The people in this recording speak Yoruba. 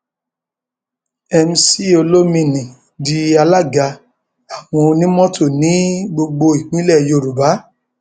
mc olomini di alága àwọn onímọtò ní gbogbo ìpínlẹ yorùbá